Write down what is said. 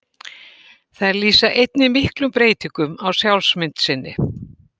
Þær lýsa einnig miklum breytingum á sjálfsmynd sinni.